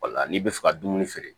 n'i bɛ fɛ ka dumuni feere